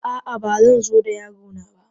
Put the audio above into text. A'a, ba zan zo da yaro na ba.